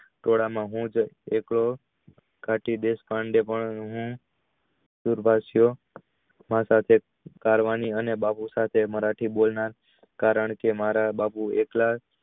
ટોળાં માહુ જ એક પાડવાની અને મરાઠી બોલનાર કારણ કે મારા બાપુ